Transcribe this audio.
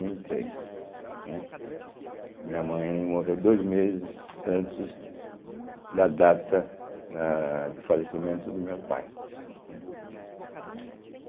mil e três, né. Minha mãe morreu dois meses antes da data ah de falecimento do meu pai, né.